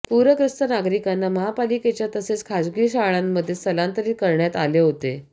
पूरग्रस्त नागरिकांना महापालिकेच्या तसेच खासगी शाळांमध्ये स्थलांतरित करण्यात आले होते